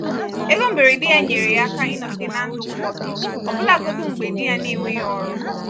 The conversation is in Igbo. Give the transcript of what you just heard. ego mberede ya nyere ya aka ịnọgide na ndụ kwụ ọtọ ọbụlagodi mgbe di ya n'enweghị ọrụ.